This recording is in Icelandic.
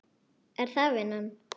Er það vinnan?